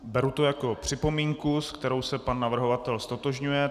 Beru to jako připomínku, se kterou se pan navrhovatel ztotožňuje.